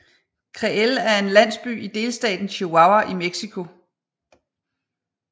Creel er en landsby i delstaten Chihuahua i Mexico